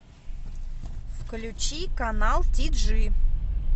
включи канал ти джи